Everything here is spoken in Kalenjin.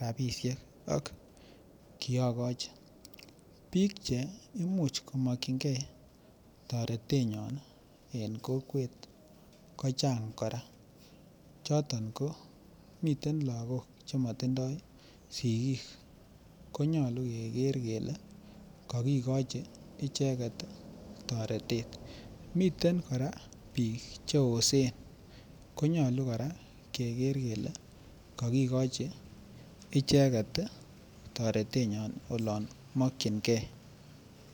rabisiek ak kiagochi bik Che Imuch ko mokyingei toretenyon en kokwet kochang kora miten lagok Che matindoi sigik ko nyolu keger kele kakigochi icheget toretet miten kora bik Che oosen ko nyolu kora keger kele kokigochi icheget toretenyon olon mokyingei